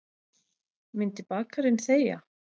Myndi bakarinn þegja?